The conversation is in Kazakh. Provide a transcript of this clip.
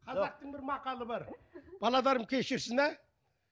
қазақтың бір мақалы бар кешірсін ә